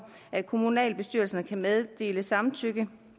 at kommunalbestyrelserne kan meddele samtykke